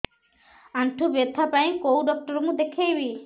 ଆଣ୍ଠୁ ବ୍ୟଥା ପାଇଁ କୋଉ ଡକ୍ଟର ଙ୍କୁ ଦେଖେଇବି